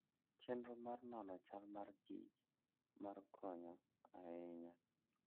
Chenro mar nono chal mar kich mar konyo ahinya.